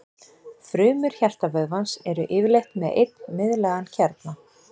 Frumur hjartavöðvans eru yfirleitt með einn miðlægan kjarna.